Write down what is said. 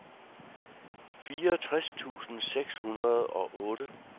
fireogtres tusind seks hundrede og otte